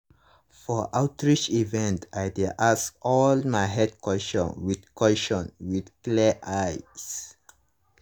for outreach events i dey ask all my health questions with questions with clear eyes.